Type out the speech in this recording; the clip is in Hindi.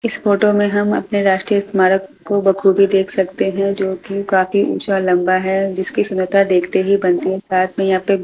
इस फोटो में हम अपने राष्ट्रीय स्मारक को बखूबी देख सकते हैं जो कि काफी ऊंचा लंबा है जिसकी सुंदरता देखते ही बनती है साथ में यहां पे --